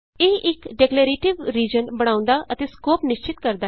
ਇਹ ਇਕ declarative region ਬਣਾਉਂਦਾ ਅਤੇ ਸਕੋਪ ਨਿਸ਼ਚਤ ਕਰਦਾ ਹੈ